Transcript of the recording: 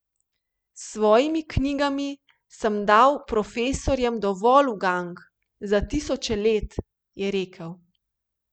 S svojimi knjigami sem dal profesorjem dovolj ugank za tisoče let, je rekel.